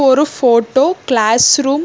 ஒரு photo class room .